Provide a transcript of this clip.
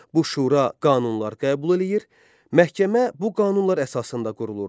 Bu şura qanunlar qəbul eləyir, məhkəmə bu qanunlar əsasında qurulurdu.